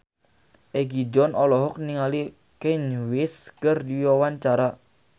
Egi John olohok ningali Kanye West keur diwawancara